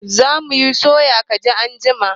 Za mu soya kajin anjima